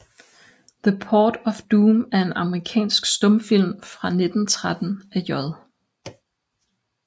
The Port of Doom er en amerikansk stumfilm fra 1913 af J